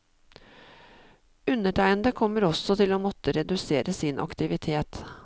Undertegnede kommer også til å måtte redusere sin aktivitet.